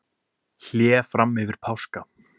Hlé fram yfir páska